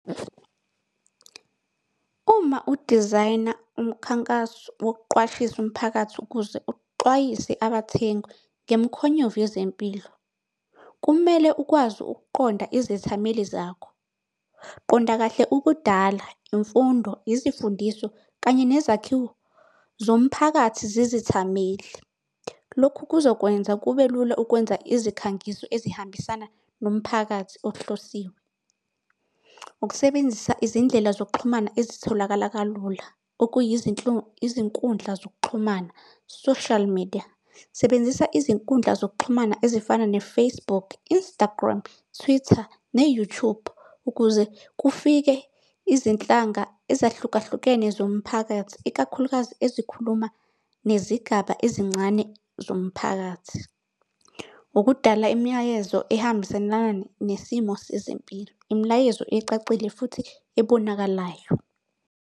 Uma u-design-a umkhankaso wokuqwashisa umphakathi ukuze uxwayise abathengi ngemikhonyovu yezempilo, kumele ukwazi ukuqonda izethameli zakho, qonda kahle ukudala imfundo, izimfundiso kanye nezakhiwo zomphakathi zezithameli. Lokhu kuzokwenza kube lula ukwenza izikhangiso ezihambisana nomphakathi ohlosiwe. Ukusebenzisa izindlela zokuxhumana ezitholakala kalula, izinkundla zokuxhumana, social media. Sebenzisa izinkundla zokuxhumana ezifana ne-Facebook, Instagram, Twitter, ne-YouTube ukuze kufike izinhlanga ezahlukahlukene zomphakathi ikakhulukazi ezikhuluma nezigaba ezincane zomphakathi. Ukudala imilayezo ehambiselana nesimo sezempilo, imilayezo ecacile futhi ebonakalayo.